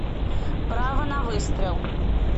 право на выстрел